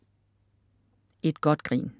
Et godt grin